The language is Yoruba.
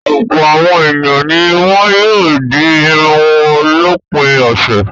Ọ̀pọ̀ àwọn ènìyàn ni wọ́n yóò di irun wọn lópin ọ̀sẹ̀.